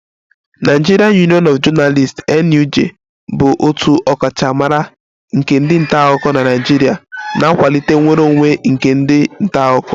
Nigerian Union of Journalists (NUJ) bụ otu ọkachamara nke ndị nta akụkọ na Naịjirịa na-akwalite nnwere onwe nke ndị nta akụkọ